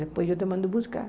Depois eu te mando buscar.